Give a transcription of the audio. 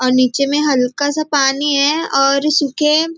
और नीचे में हल्का सा पानी है और सूखें--